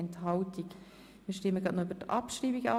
Wir stimmen sogleich über deren Abschreibung ab.